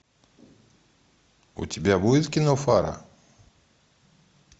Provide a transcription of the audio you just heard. у тебя будет кино фара